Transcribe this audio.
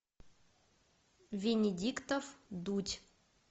венедиктов дудь